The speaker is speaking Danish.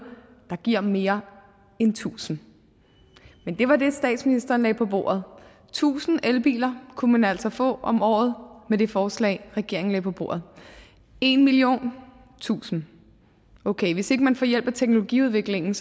der giver mere end tusind men det var det statsministeren lagde på bordet tusind elbiler kunne man altså få om året med det forslag regeringen lagde på bordet en million tusind okay hvis ikke man får hjælp af teknologiudviklingen